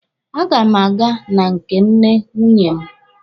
A ga m aga na nke nne nwunye m.